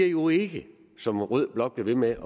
jo ikke som rød blok bliver ved med